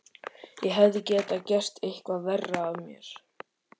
Ég hefði getað gert eitthvað verra af mér.